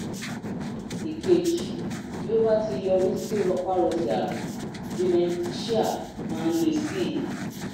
ìkejì bí ó bá ti yọrí sí rọpárọsẹ̀ àrùn dementia máa ń le sí i